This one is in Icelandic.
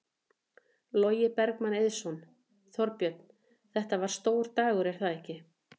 Logi Bergmann Eiðsson: Þorbjörn, þetta var stór dagur er það ekki?